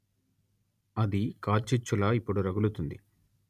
అది కార్చిచ్చులా ఇప్పుడు రగులుతుంది